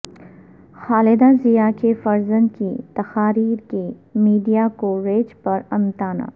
خالدہ ضیا کے فرزند کی تقاریر کے میڈیا کوریج پر امتناع